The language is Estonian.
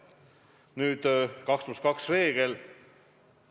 Nüüd, 2 + 2 reegel.